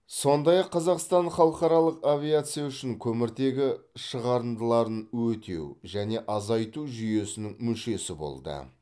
сондай ақ қазақстан халықаралық авиация үшін көміртегі шығарындыларын өтеу және азайту жүйесінің мүшесі болды